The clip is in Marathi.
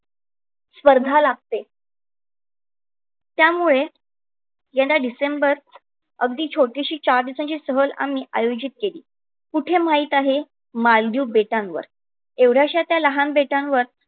स्पर्धा लागते. त्यामुळे यंदा डिसेंबर अगदी छोटीशी चार दिवसाची सहल आम्ही आयोजित केली. कुठे माहित आहे मालदीव बेटांवर